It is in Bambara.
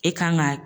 E kan ka